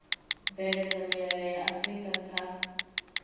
bveledza milayo ya vhuifari kha